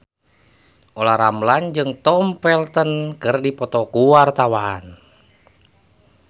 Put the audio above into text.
Olla Ramlan jeung Tom Felton keur dipoto ku wartawan